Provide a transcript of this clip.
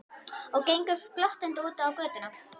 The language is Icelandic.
Og gengur glottandi út á götuna.